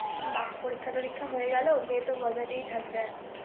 বাঃ পরীক্ষার টরীক্ষা তো হয়ে গেল মেয়ে তো মজাতেই থাকবে এখন ৷